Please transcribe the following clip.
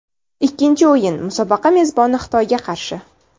Ikkinchi o‘yin musobaqa mezboni Xitoyga qarshi.